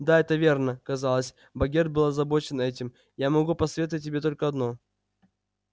да это верно казалось богерт был озабочен этим я могу посоветовать тебе только одно